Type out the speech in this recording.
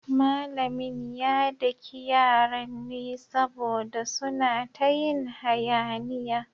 Malamin ya daki yaran ne saboda suna ta yin hayaniya.